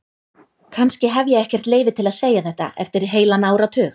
Kannski hef ég ekkert leyfi til að segja þetta eftir heilan áratug.